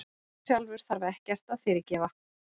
Herrann sjálfur þarf ekkert að fyrirgefa.